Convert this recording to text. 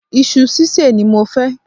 Isu sísè ni mo fẹ́